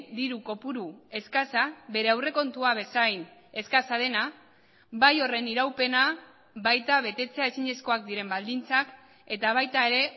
diru kopuru eskasa bere aurrekontua bezain eskasa dena bai horren iraupena baita betetzea ezinezkoak diren baldintzak eta baita ere